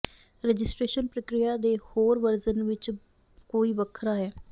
registration ਪ੍ਰਕਿਰਿਆ ਦੇ ਹੋਰ ਵਰਜਨ ਵਿੱਚ ਕੋਈ ਵੱਖਰਾ ਹੈ